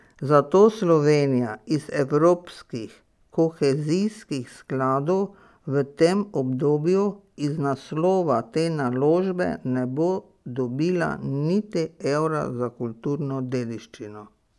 Zato Slovenija iz evropskih kohezijskih skladov v tem obdobju iz naslova te naložbe ne bo dobila niti evra za kulturno dediščino.